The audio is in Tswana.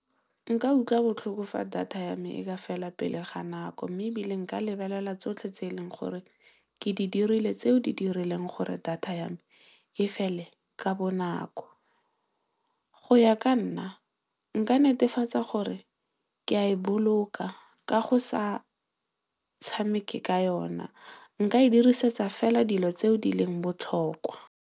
Nka utlwa botlhoko fa data ya me e ka fela pele ga nako mme, ebile nka lebelela tsotlhe tse e leng gore ke di dirile tseo di dirileng gore data ya me e fele ka bonako. Go ya ka nna nka netefatsa gore ke a e boloka ka go sa tshamekeng ka yona nka e dirisetsa fela dilo tseo di leng botlhokwa.